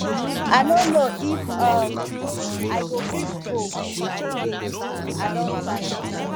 i no know if um i go fit go again i don tire